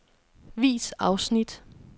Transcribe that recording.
Vis afsnit.